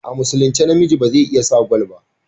A musulince namiji beze iya sa gwal ba